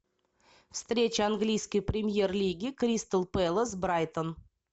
встреча английской премьер лиги кристал пэлас брайтон